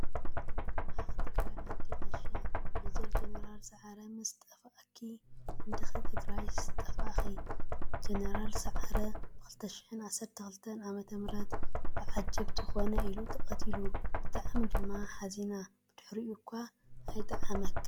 ዓኽ ትግራይ ዓደይ ዓሻ ! መጀር ጀነራል ሰዓረ ምስ ተፈአኪ እንዲኪ ትግራይስ ዝጠፋእኪ፤ ጀነራል ሰዓር ብ2012 ዓ/ም ብ ዓጀብቲ ኮነይ ኢሉ ተቀቲሉ። ብጣዕሚ ድማ ሓዚና ብድሕሪኡ እኳ ኣይጠዓመናን።